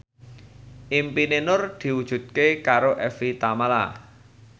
impine Nur diwujudke karo Evie Tamala